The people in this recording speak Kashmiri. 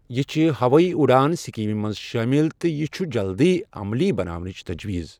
یہِ چھ ہوٲیی اڈان سکیٖمہِ منٛز شٲمِل تہٕ یہِ چھُ جلدی عملی بناونٕچ تجویز ۔